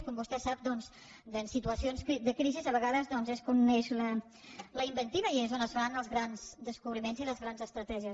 com vostè sap doncs en situacions de crisi a vegades és quan neix la inventiva i és quan es fan els grans descobriments i les grans estratègies